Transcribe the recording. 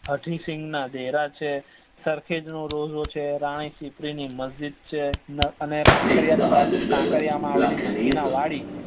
હાથીં સિગ ના દેરા છે સરખેજ નો રોજો છે રાણીપ ની મજીદ છે અને કાંકરિયા માં આવેલી નગીના વાડી